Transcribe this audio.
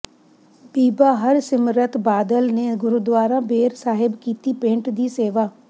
ਬੀਬਾ ਹਰਸਿਮਰਤ ਬਾਦਲ ਨੇ ਗੁਰਦੁਆਰਾ ਬੇਰ ਸਾਹਿਬ ਕੀਤੀ ਪੇਂਟ ਦੀ ਸੇਵਾ